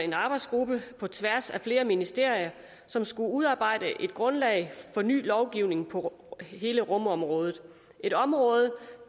en arbejdsgruppe på tværs af flere ministerier som skulle udarbejde et grundlag for ny lovgivning på hele rumområdet et område